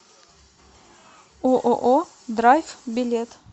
ооо драйв билет